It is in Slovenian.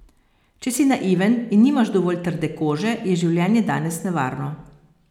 Če si naiven in nimaš dovolj trde kože, je življenje danes nevarno.